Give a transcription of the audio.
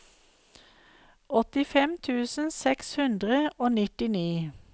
åttifem tusen seks hundre og nittini